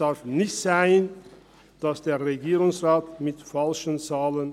Der Regierungsrat operiert mit falschen Zahlen: